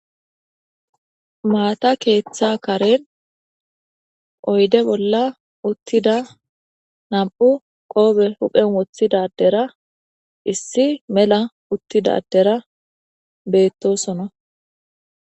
Mata ketha karen oyde bolla uttada nam'u huphe qope wothida adera issi mela uttida adera betosona